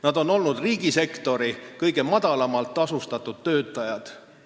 Nad on olnud riigisektori kõige madalamalt tasustatud töötajad.